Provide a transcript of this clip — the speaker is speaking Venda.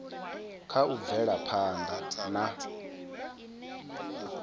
kha u bvela phanda na